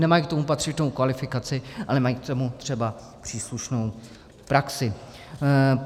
Nemají k tomu patřičnou kvalifikaci a nemají k tomu třeba příslušnou praxi.